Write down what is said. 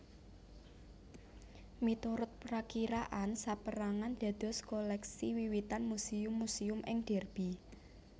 Miturut prakiraan sapérangan dados koleksi wiwitan Muséum muséum ing Derby